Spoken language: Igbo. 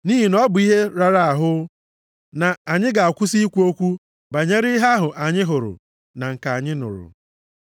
Nʼihi na ọ bụ ihe rara ahụ na anyị ga-akwụsị ikwu okwu banyere ihe ahụ anyị hụrụ na nke anyị nụrụ.”